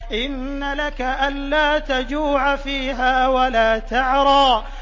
إِنَّ لَكَ أَلَّا تَجُوعَ فِيهَا وَلَا تَعْرَىٰ